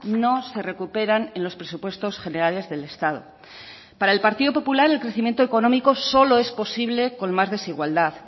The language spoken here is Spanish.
no se recuperan en los presupuestos generales del estado para el partido popular el crecimiento económico solo es posible con más desigualdad